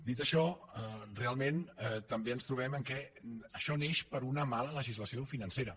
dit això realment també ens trobem que això neix per una mala legislació financera